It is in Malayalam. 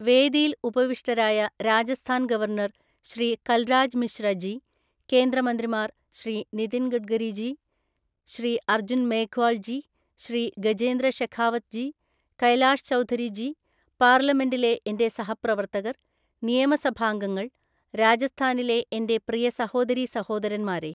വേദിയിൽ ഉപവിഷ്ടരായ രാജസ്ഥാൻ ഗവർണർ ശ്രീ കൽരാജ് മിശ്ര ജി, കേന്ദ്ര മന്ത്രിമാർ, ശ്രീ നിതിൻ ഗഡ്കരി ജി, ശ്രീ അർജുൻ മേഘ്വാൾ ജി, ശ്രീ ഗജേന്ദ്ര ഷെഖാവത് ജി, കൈലാഷ് ചൗധരി ജി, പാർലമെന്റിലെ എന്റെ സഹപ്രവർത്തകർ, നിയമസഭാംഗങ്ങൾ, രാജസ്ഥാനിലെ എന്റെ പ്രിയ സഹോദരീ സഹോദരന്മാരേ!